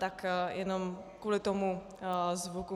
Tak jenom kvůli tomu zvuku.